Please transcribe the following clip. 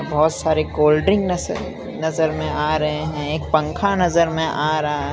बहोत सारे cold drink नजर नजर में आ रहे हैं एक पंखा नजर में आ रहा --